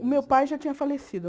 O meu pai já tinha falecido.